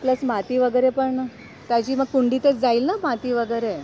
plus माती वगैरे पण ताजी व कुंडी तच जाईल ना माती वगैरे